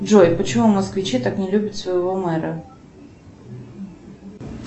джой почему москвичи так не любят своего мэра